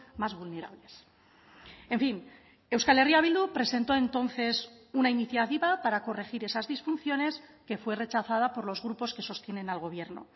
más vulnerables en fin euskal herria bildu presentó entonces una iniciativa para corregir esas disfunciones que fue rechazada por los grupos que sostienen al gobierno